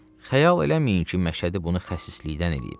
Xəyal eləməyin ki, Məşədi bunu xəsislikdən eləyib.